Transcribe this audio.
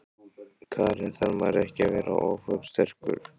Karen: Þarf maður ekki að vera ofursterkur?